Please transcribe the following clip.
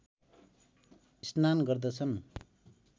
स्नान गर्दछन्